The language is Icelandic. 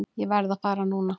Ég verð að fara núna!